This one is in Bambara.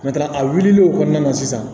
a wulil'o kɔnɔna na sisan